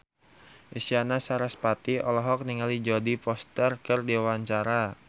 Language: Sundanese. Isyana Sarasvati olohok ningali Jodie Foster keur diwawancara